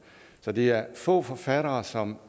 så det er få forfattere som